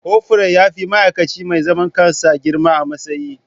Kofur ya fi ma'aikaci mai zaman kansa girma a matsayi.